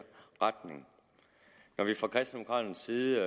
retning når vi fra kristendemokraternes side